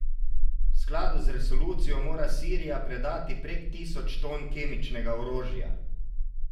V skladu z resolucijo mora Sirija predati prek tisoč ton kemičnega orožja.